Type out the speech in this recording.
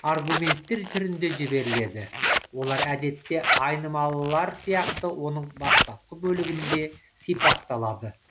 аргументтер түрінде жіберіледі олар әдетте айнымалылар сияқты оның бастапқы бөлігінде сипатталады